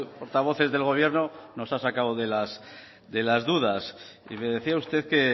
portavoces del gobierno nos ha sacado de las dudas y me decía usted que